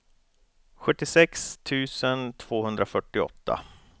sjuttiosex tusen tvåhundrafyrtioåtta